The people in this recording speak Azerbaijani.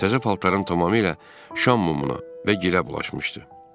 Təzə paltarım tamamilə şam mumuna və girə bulaşmışdı.